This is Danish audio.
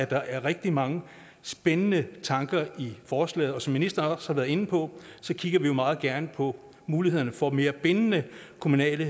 der er rigtig mange spændende tanker i forslaget og som ministeren også har været inde på kigger vi jo meget gerne på muligheder for mere bindende kommunale